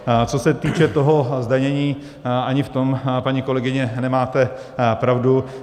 Co se týče toho zdanění, ani v tom, paní kolegyně, nemáte pravdu.